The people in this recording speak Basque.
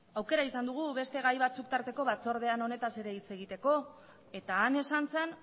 aukera izan dugu beste gai batzuk tarteko batzordean honetaz ere hitz egiteko eta han esan zen